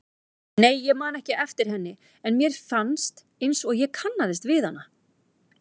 Nei, ég man ekki eftir henni en mér fannst einsog ég kannaðist við hana.